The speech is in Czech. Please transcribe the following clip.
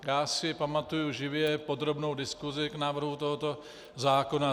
Já si pamatuji živě podrobnou diskusi k návrhu tohoto zákona.